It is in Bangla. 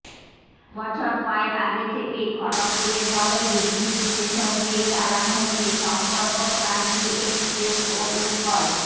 বছর কয়েক আগে থেকেই খড়্গপুরের বদলে হিজলি স্টেশন দিয়েই চালানো হচ্ছে সম্পর্কক্রান্তি এক্সপ্রেস ও উৎকল